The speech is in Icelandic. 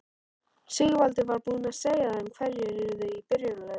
Sigvaldi var búinn að segja þeim hverjir yrðu í byrjunarliðinu.